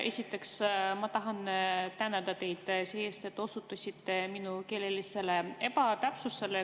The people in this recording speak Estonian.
Esiteks tahan tänada teid selle eest, et te osutasite minu keelelisele ebatäpsusele.